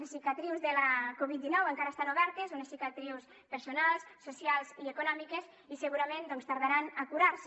les cicatrius de la covid dinou encara estan obertes unes cicatrius personals socials i econòmiques i segurament doncs tardaran a curar se